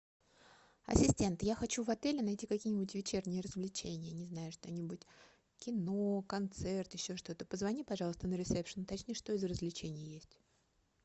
ассистент я хочу в отеле найти какие нибудь вечерние развлечения не знаю что нибудь кино концерт еще что то позвони пожалуйста на ресепшн уточни что из развлечений есть